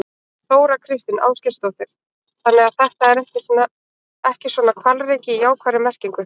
Þóra Kristín Ásgeirsdóttir: Þannig að þetta er ekki svona hvalreki í jákvæðri merkingu?